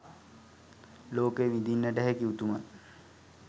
ලෝකය විඳින්නට හැකි උතුමන්